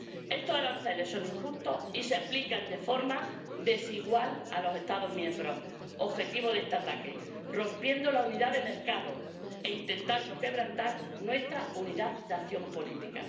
Estos aranceles son injustos y se aplican de forma desigual a los Estados miembros objetivo de este ataque, rompiendo la unidad de mercado e intentando quebrantar nuestra unidad de acción política.